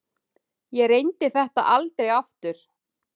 Ég reyndi þetta aldrei aftur.